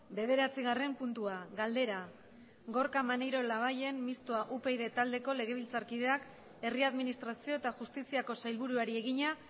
bederatzigarren puntua galdera gorka maneiro labayen mistoa upyd taldeko legebiltzarkideak herri administrazio eta justiziako sailburuari egina